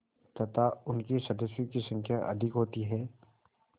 तथा उनके सदस्यों की संख्या अधिक होती है